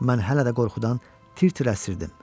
Mən hələ də qorxudan tir-tir əsirirdim.